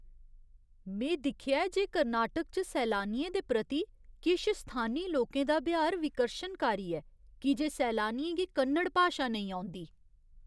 में दिक्खेआ ऐ जे कर्नाटक च सैलानियें दे प्रति किश स्थानी लोकें दा ब्यहार विकर्शनकारी ऐ की जे सैलानियें गी कन्नड़ भाशा नेईं औंदी।